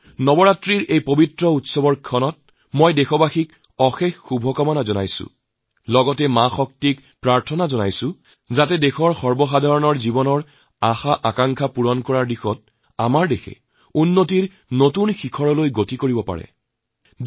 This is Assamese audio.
নবৰাত্ৰিৰ এই শুভ উৎসৱ উপলক্ষে মই দেশবাসীক বহুত বহুত অভিনন্দন জনাইছোঁ মাতা শক্তিৰ ওচৰত প্ৰাৰ্থনা জনাওঁ যে দেশৰ সাধাৰণ লোকসকলৰ আশাআকাংক্ষা পুৰণৰ উদ্দেশ্যে আমাৰ দেশে সাফল্যৰ নতুন শিখৰত উপনীত হওঁক